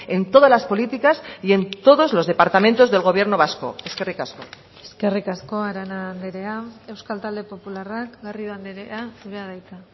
en todas las políticas y en todos los departamentos del gobierno vasco eskerrik asko eskerrik asko arana andrea euskal talde popularrak garrido andrea zurea da hitza